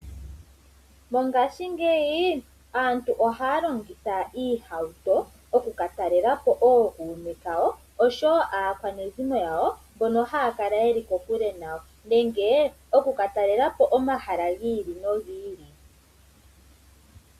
Mongaashi ngeyi aantu ohaya longitha iihawuto okuka talelapo ookume kawo nakwanezimo yawo mbono haya kala yeli kokule nayo nenge okuka talelapo omahala gi ili nogi ili.